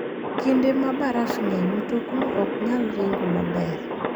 Kinde ma baraf ng'eny, mtokni ok nyal ringo maber.